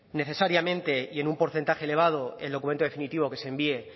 necesariamente y en un porcentaje elevado el documento definitivo que se envíe